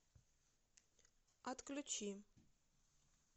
отключи